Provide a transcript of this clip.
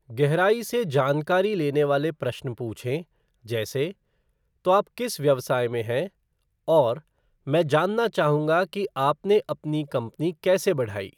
गहराई से जानकारी लेने वाले प्रश्न पूछें जैसे, "तो आप किस व्यवसाय में हैं?" "और," "मैं जानना चाहूंगा कि आपने अपनी कंपनी कैसे बढ़ाई!"